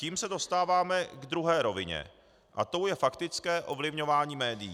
Tím se dostáváme k druhé rovině a tou je faktické ovlivňování médií.